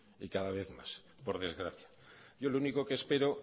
y cada vez más por desgracia yo lo único que espero